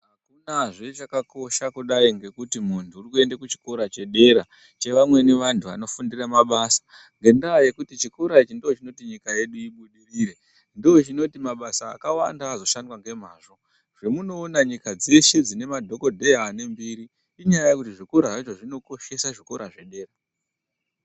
Hakunazve chakakosha kudai ngekuti muntu uri kuenda kuchikora chedera chevamweni vantu vanofundira mabasa. Ngendaa yekuti chikora ichi ndochinoti nyika yedu ibudirire ndochinoti mabasa akawanda azoshandwa nemazvo. Zvemunoona nyika dzeshe dzine madhogodheya ane mbiri inyaya yekuti zvikora zvacho zvinokoshesa zvikora zvedera.